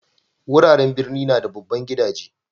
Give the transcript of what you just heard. Wuraren birni na da babban gidaje.